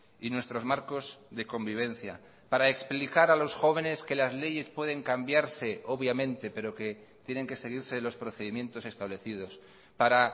y nuestros marcos de convivencia para explicar a los jóvenes que las leyes pueden cambiarse obviamente pero que tienen que seguirse los procedimientos establecidos para